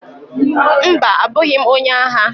Mba! abụghị m onye agha.